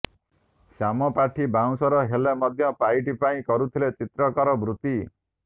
ଶ୍ୟାମ ପାଠୀ ବଉଁଶର ହେଲେ ମଧ୍ୟ ପାଇଟି ପାଇଁ କରୁଥିଲେ ଚିତ୍ରକରର ବୃତ୍ତି